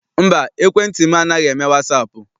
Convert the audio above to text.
Mba, ekwentị m anaghị eme wasaapụ.